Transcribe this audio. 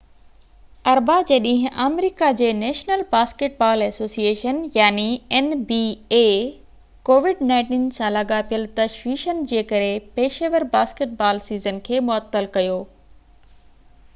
اربع جي ڏينهن، آمريڪا جي national basketball association nba covid-19 سان لاڳاپيل تشويشن جي ڪري پيشيور باسڪيٽ بال سيزن کي معطل ڪيو